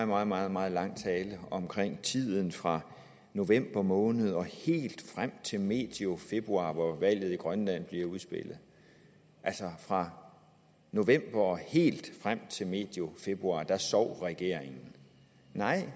meget meget meget lang tale om tiden fra november måned og helt frem til medio februar hvor valget i grønland blev udspillet altså fra november og helt frem til medio februar sov regeringen nej